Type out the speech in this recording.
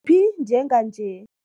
phi njenganje?